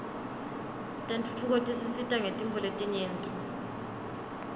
tentfutfuko tisisita ngetintfo letinyenti